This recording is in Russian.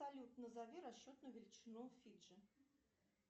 салют назови расчетную величину фиджи